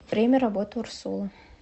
время работы урсула